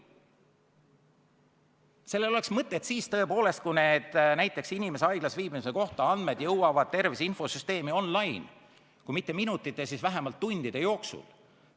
Sellel seadusel oleks mõtet siis, kui näiteks andmed inimese haiglas viibimise kohta jõuaksid tervise infosüsteemi kohe – kui mitte minutite, siis vähemalt tundide jooksul.